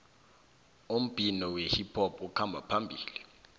umbhino wehiphop ukhamba phambili